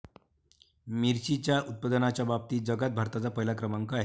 मिरचीच्या उत्पादनाच्या बाबतीत जगात भारताचा पहिला क्रमांक आहे.